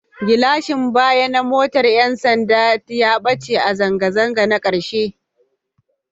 Gilashin baya na motar 'yan sanda ya ɓace a zanga-zangar ta ƙarshe